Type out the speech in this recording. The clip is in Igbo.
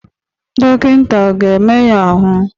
Dọkịta ọ ga-eme ya ahụ?